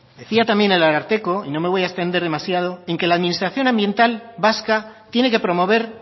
decía también el ararteko y no me voy a extender demasiado en que la administración ambiental vasca tiene que promover